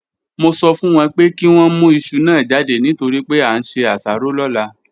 Mo sọ fún wọn pé kí wọ́n mú iṣu náà jáde nítorí pé a ń se asaro lọ́la